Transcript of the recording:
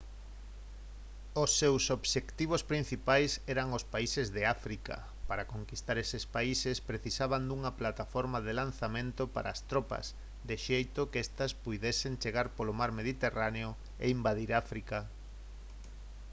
os seus obxectivos principais eran os países de áfrica para conquistar eses países precisaban dunha plataforma de lanzamento para as tropas de xeito que estas puidesen chegar polo mar mediterráneo e invadir áfrica